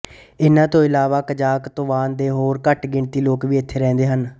ਇਹਨਾਂ ਤੋਂ ਇਲਾਵਾ ਕਜ਼ਾਖ਼ ਤੁਵਾਨ ਤੇ ਹੋਰ ਘੱਟ ਗਿਣਤੀ ਲੋਕ ਵੀ ਇੱਥੇ ਰਹਿੰਦੇ ਹਨ